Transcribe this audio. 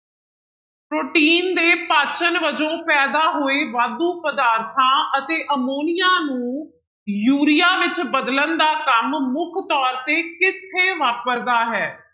Protein ਦੇ ਪਾਚਣ ਵਜੋਂ ਪੈਦਾ ਹੋਏ ਵਾਧੂ ਪਦਾਰਥਾਂ ਅਤੇ ਅਮੋਨੀਆ ਨੂੰ ਯੂਰੀਆ ਵਿੱਚ ਬਦਲਣ ਦਾ ਕੰਮ ਮੁੱਖ ਤੌਰ ਤੇ ਕਿੱਥੇ ਵਾਪਰਦਾ ਹੈ?